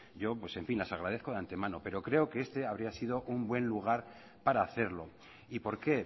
yo las agradezco de antemano pero creo que este habría sido un gran lugar para hacerlo y por qué